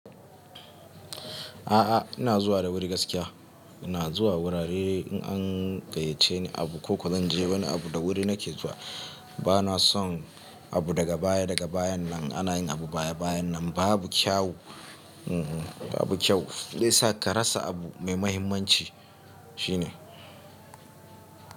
A'a, ina zuwa da wuri gaskiya. Ina zuwa wurare an gayyace ni. Abu ko kowa zan je bana abu da wuri nake zuwa. Ba na son, abu daga baya daga bayan nan, ana yin abu baya bayan nan. Ba abu kyawu. Ba abu kyawu. Zai sa ka rasa abu mai mahimmanci shine.